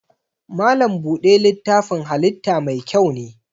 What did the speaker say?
Malam buɗe littafin halitta mai kyau ne.